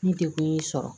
Ni degun y'i sɔrɔ